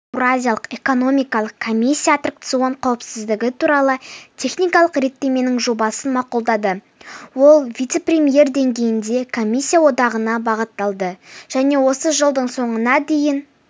еуразиялық экономикалық комиссия аттракцион қауіпсіздігі туралы техникалық реттеменің жобасын мақұлдады ол вице-премьер деңгейінде комиссия одағына бағытталды және осы жылдың соңына дейін